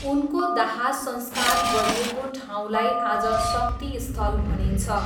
उनको दाहसंस्कार गरिएको ठाउँलाई आज शक्तिस्थल भनिन्छ।